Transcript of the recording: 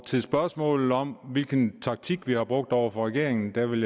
til spørgsmålet om hvilken taktik vi har brugt over for regeringen vil